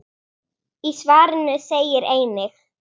Í svarinu segir einnig